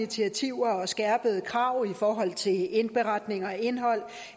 initiativer og skærpede krav i forhold til indberetning og indhold